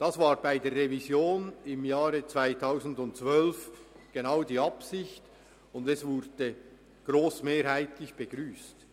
Genau darin bestand bei der Revision im Jahr 2012 die Absicht, und sie wurde grossmehrheitlich begrüsst.